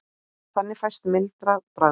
Þannig fæst mildara bragð.